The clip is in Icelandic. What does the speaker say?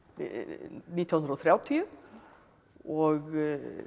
nítján hundruð og þrjátíu og